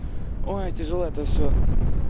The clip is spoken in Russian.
ой тяжело это всё